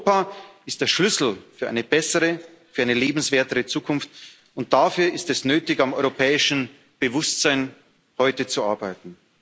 Europa ist der Schlüssel für eine bessere, für eine lebenswerte Zukunft, und dafür ist es nötig, heute am europäischen Bewusstsein zu arbeiten.